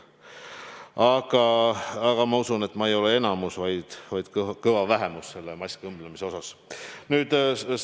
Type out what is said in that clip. Aga ma usun, et ma ei ole enamus, vaid ka kõva vähemus selle maski õmblemise oskuse poolest.